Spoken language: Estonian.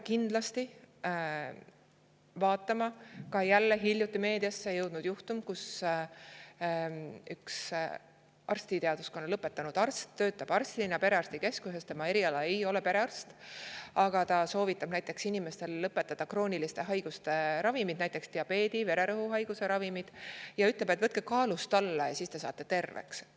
Ka jälle hiljuti meediasse jõudnud juhtum, kus üks arstiteaduskonna lõpetanud arst, kes töötab perearstikeskuses arstina, aga kelle eriala ei ole perearst, soovitab inimestel krooniliste haiguste puhul lõpetada ravimite, näiteks diabeedi või vererõhuhaiguse ravimite ning ütleb, et võtke kaalust alla ja siis saate terveks.